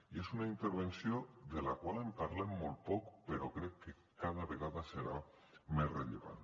i és una intervenció de la qual en parlem molt poc però crec que cada vegada serà més rellevant